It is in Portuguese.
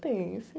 Tem, sim.